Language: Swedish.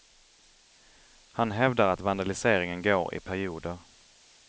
Han hävdar att vandaliseringen går i perioder.